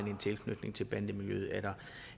en tilknytning til bandemiljøet